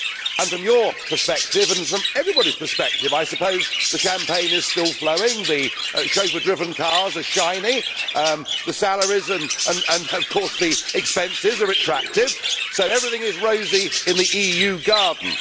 And from your perspective, Mr Barroso, and from everybody's perspective I suppose, the champagne is still flowing, the chauffeur driven cars are shiny, the salaries and of course the expenses are attractive, so everything is rosy in the EU garden.